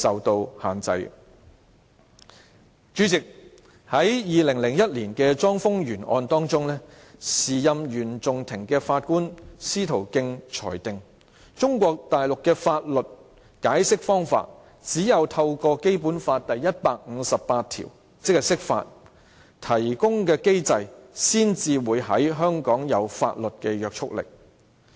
代理主席，在2001年的莊豐源案中，時任原訟庭法官司徒敬裁定，中國大陸的法律解釋方法，只有透過《基本法》第一百五十八條提供的機制，才會在香港有法律約束力。